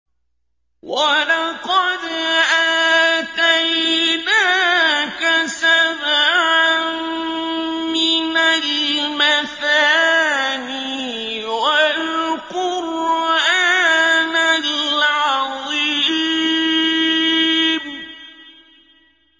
وَلَقَدْ آتَيْنَاكَ سَبْعًا مِّنَ الْمَثَانِي وَالْقُرْآنَ الْعَظِيمَ